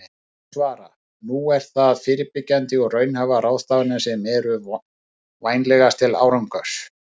En ég svara: Nú eru það fyrirbyggjandi og raunhæfar ráðstafanir sem eru vænlegastar til árangurs.